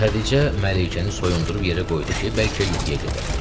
Xədicə Mələykəni soyundub yerə qoydu ki, bəlkə yuxuya gedə.